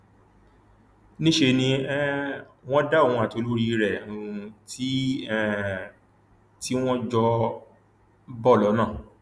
níṣẹ ni um wọn dá òun àti olórí rẹ um tí um tí wọn jọ ń bọ lọnà